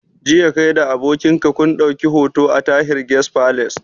Jiya kai da abokin ka kun ɗauki hoto a Tahir Guest Palace